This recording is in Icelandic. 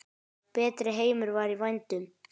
Betri heimur var í vændum.